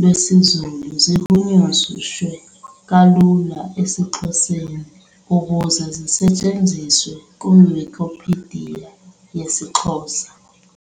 lwesiZulu zihunyushelwe kalula esiXhoseni ukuze zisetshenziswe iWikipedia yesiXhosa.